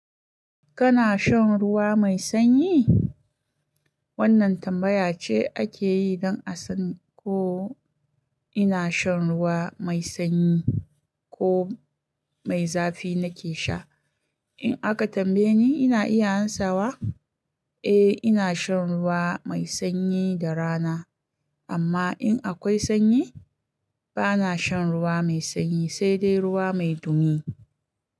Kana shan ruwa mai sanyi? Wannan tambaya ce ake yi don a san ko ina shan ruwa mai sanyi ko mai zafi nake sha. In aka tambaye ni, ina iya amsawa, "Eh, ina shan ruwa mai sanyi da rana, amma in akwai sanyi, bana shan ruwa mai sanyi, sai dai ruwa mai dumi."